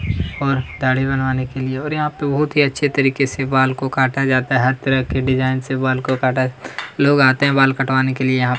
और दाढ़ी बनवाने के लिए और यहाँ पे बहुत ही अच्छे तरीके से बाल को काटा जाता है हर तरह के डिजाइन से बाल को काटा लोग आते हैं बाल कटवाने के लिए यहाँ पे --